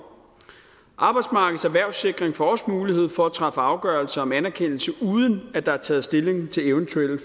arbejdsmarkedets erhvervssikring får også mulighed for at træffe afgørelse om anerkendelse uden at der er taget stilling til eventuelle